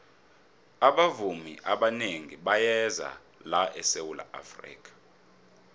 abavumi abanengi bayeza la esawula afrika